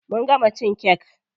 Mun gama cin kek.